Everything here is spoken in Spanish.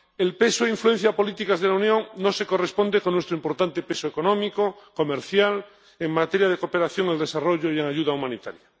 El peso e influencia políticos de la Unión no se corresponde con nuestro importante peso económico, comercial, en materia de cooperación al desarrollo y ayuda humanitaria.